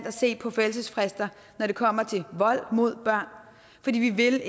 at se på forældelsesfrister når det kommer til vold mod børn fordi vi ikke